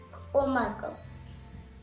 og mangó og